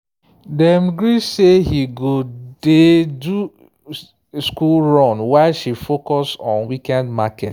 dem gree say he go dey do school run while she focus on weekend market.